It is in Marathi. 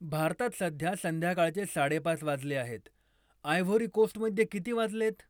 भारतात सध्या संध्याकाळचे साडेपाच वाजले आहेत, आयव्होरी कोस्टमध्ये किती वाजलेत